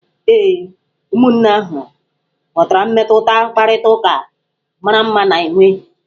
Ee, ụmụnne ahụ ghọtara mmetụta mkparịtaụka mara mma na-enwe.